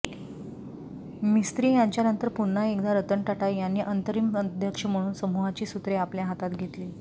मिस्त्री यांच्यानंतर पुन्हा एकदा रतन टाटा यांनी अंतरिम अध्यक्ष म्हणून समूहाची सूत्रे आपल्या हातात घेतली